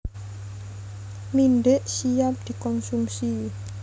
Mindhik siap dikonsumsi